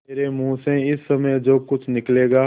मेरे मुँह से इस समय जो कुछ निकलेगा